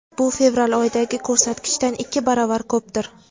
bu fevral oyidagi ko‘rsatkichdan ikki baravar ko‘pdir.